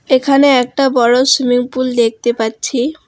এখানে একটা বড় সুইমিংপুল দেখতে পাচ্ছি।